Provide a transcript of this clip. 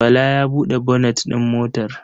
Bala ya buɗe bonet ɗin motar?